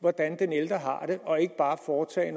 hvordan den ældre har det og ikke bare foretage